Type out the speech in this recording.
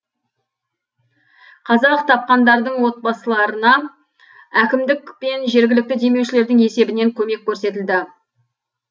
қазақ тапқандардың отбасыларына әкімдік пен жергілікті демеушілердің есебінен көмек көрсетілді